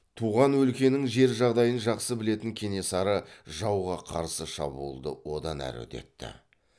туған өлкенің жер жағдайын жақсы білетін кенесары жауға қарсы шабуылды одан әрі үдетті